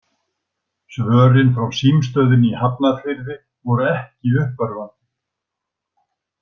Svörin frá símstöðinni í Hafnarfirði voru ekki uppörvandi.